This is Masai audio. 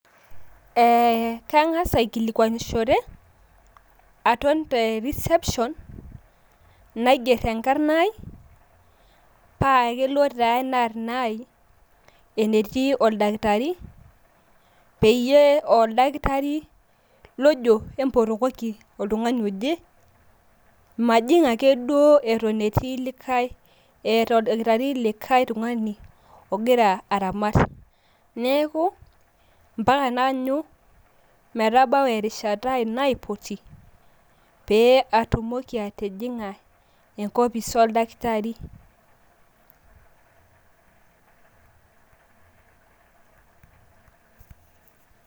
Kang`as aikilikuanishore aton te reception naing`err enkarna ai paa kelo taa ena arna ai enetii oldakitari peyie aa oldakitari lojo empotokoki oltung`ani oje. Majing ake duo eton etii likae eeta oldakitari likae tung`ani ogira aramat. Neaku mpaka naanyu metabau erishata ai naipoti pee atumoki atijing`a enkopis oldakitari.